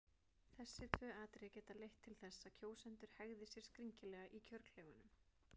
Þessi tvö atriði geta leitt til þess að kjósendur hegði sér skringilega í kjörklefanum.